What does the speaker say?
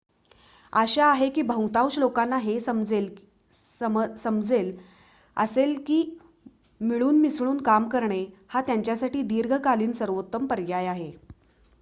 आशा आहे की बहुतांश लोकांना हे समजेल असेल की मिळून मिसळून काम करणे हा त्यांच्यासाठी दीर्घकालीन सर्वोत्तम पर्याय आहे